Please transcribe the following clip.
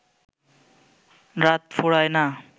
রাত ফুরায় না